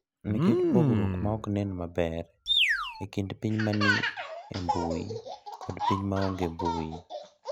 Nikech pogruok ma ok nen maber e kind piny ma ni e mbui kod piny ma onge mbui.